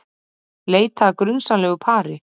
Leita að grunsamlegu pari